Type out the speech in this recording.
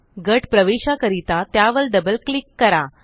गट प्रवेशा करिता त्यावर डबल क्लिक करा